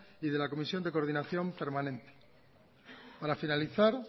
y de la comisión de coordinación permanente para finalizar